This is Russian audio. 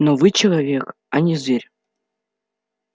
но вы человек а не зверь